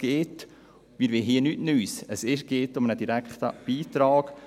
Wir wollen hier nichts Neues, es geht um einen direkten Beitrag.